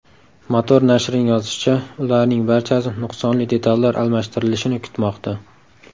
Motor nashrining yozishicha , ularning barchasi nuqsonli detallar almashtirilishini kutmoqda.